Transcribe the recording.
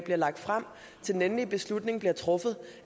bliver lagt frem til den endelige beslutning bliver truffet